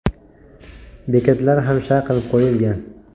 Bekatlar ham shay qilib qo‘yilgan.